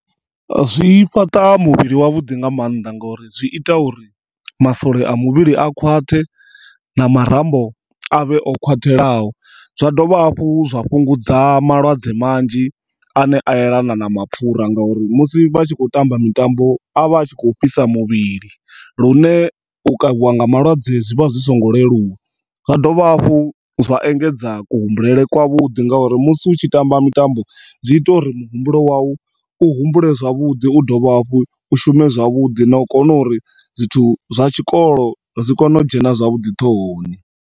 Zwi fhaṱa muvhili wa vhuḓi nga maanḓa ngori zwi ita uri masole a muvhili a khwaṱhe na marambo avhe o khwathelaho. Zwa dovha hafhu zwa vhungudza malwadze manzhi ane a yelana na mapfura nga uri musi vhatshi kho tamba mitambo avha a tshi kho fhisa muvhili lune u kavhiwa nga malwadze zwivha zwisingo leluwa. Zwa dovha hafhu zwa engedza ku humbulele kwa vhuḓi nga uri musi utshi tamba mitambo zwi ita uri muhumbulo wau u humbule zwavhuḓi u dovhe hafhu u shume zwavhuḓi na u kona uri zwithu zwa tshikolo zwi kone u dzhena zwavhuḓi ṱhohoni.